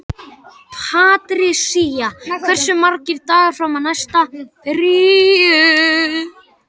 Patrisía, hversu margir dagar fram að næsta fríi?